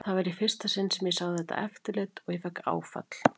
Það var í fyrsta sinn sem ég sá þetta eftirlit og ég fékk áfall.